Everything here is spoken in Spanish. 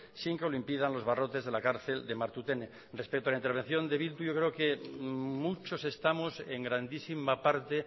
sin que lo impidan los barrotes de la cárcel de martutene respecto a la intervención de eh bildu yo creo que muchos estamos en grandísima parte